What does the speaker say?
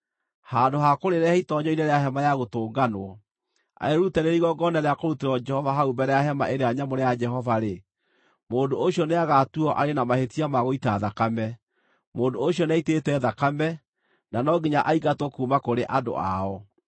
handũ ha kũrĩrehe itoonyero-inĩ rĩa Hema-ya-Gũtũnganwo, arĩrute rĩrĩ igongona rĩa kũrutĩrwo Jehova hau mbere ya Hema-ĩrĩa-Nyamũre ya Jehova-rĩ, mũndũ ũcio nĩagatuuo arĩ na mahĩtia ma gũita thakame; mũndũ ũcio nĩaitĩte thakame, na no nginya aingatwo kuuma kũrĩ andũ ao.